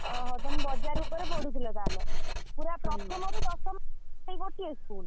ଓହୋ ତମେ ବଜାର ଉପରେ ପଢଉଥିଲ ତାହେଲେ ପୁରା ପ୍ରଥମ ରୁ ଦଶମ ଯାଏ ଗୋଟିଏ school ।